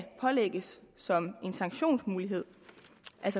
pålægges som en sanktionsmulighed